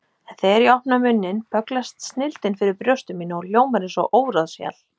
En þegar ég opna munninn bögglast snilldin fyrir brjósti mínu og hljómar eins og óráðshjal.